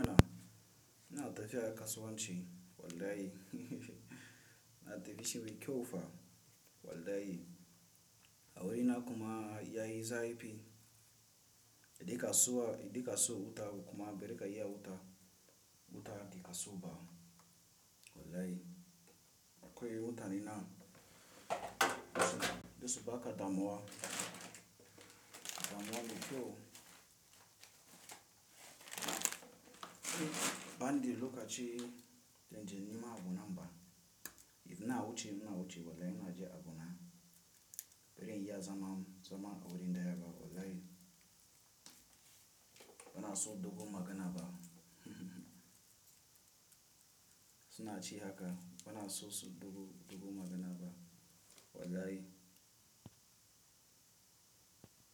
Ina, tafiya kasuwanci wallahi. Na tafi shi mai kyau fa wallahi. A wuri na kuma yayi zafi. Idan kasuwa, idan ka siyo wuta kuma bai rika yi a wuta, wuta di ka siyo ba wallahi. Akwai wuta ni na, dasu baka damuwa, damuwa mai kyau. Ban da lokaci, dan je nima abu na mba. Idan na wuce, ina wuce wallahi ina je abu na. Bari in yi a zama, zama a wurin daya ba wallahi. Bana so dogon magana ba. Su na ci haka, bana so su dogo, dogo magana ba wallahi.